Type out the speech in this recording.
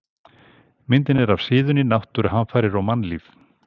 Myndin er af síðunni Náttúruhamfarir og mannlíf.